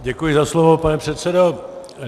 Děkuji za slovo, pane předsedo.